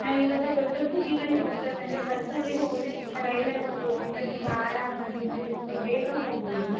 ನಾವು ಈಗವ ದುಡ್ಡ್ ದುಡ್ಡ್ ಸಿಟಿ ಗಳಿಗೆ ಹೋಗ್ಬೇಕು ಅಂದ್ರೆ ಬಸ್ ಲಿ ಹೋಗೋದಿಕ್ಕಿಂತ ರೈಲ್ ಲ್ಲಿ ಹೋಗೋದ್ರಿಂದ ತುಂಬಾ ಆರಾಮಾಗಿ ಮತ್ತೆ ತುಂಬಾ ಬೇಗ ಹೋಗ್ಬಹುದು.